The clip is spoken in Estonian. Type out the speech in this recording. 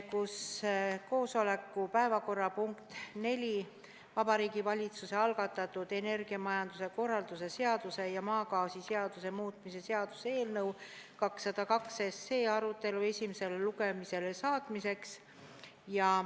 Koosoleku päevakorrapunkt nr 4, Vabariigi Valitsuse algatatud energiamajanduse korralduse seaduse ja maagaasiseaduse muutmise seaduse eelnõu 202 arutelu esimesele lugemisele saatmiseks.